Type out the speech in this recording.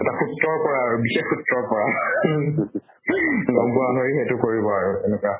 সূত্ৰৰ পৰা আৰু বিশেষ সূত্ৰৰ পৰা গম পোৱা হলে সেইটো কৰিব আৰু তেনেকুৱা